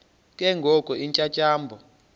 ke ngoko iintyatyambo